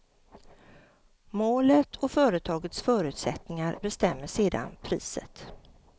Målet och företagets förutsättningar bestämmer sedan priset.